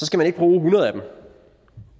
skal man ikke bruge hundrede af dem